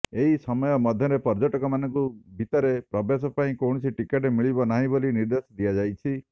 ଏହି ସମୟ ମଧ୍ୟରେ ପର୍ଯ୍ୟଟକମାନଙ୍କୁ ଭିତରେ ପ୍ରବେଶ ପାଇଁ କୌଣସି ଟିକେଟ ମିଳିବ ନାହିଁ ବୋଲି ନିର୍ଦ୍ଦେଶ ଦିଆଯାଇଛି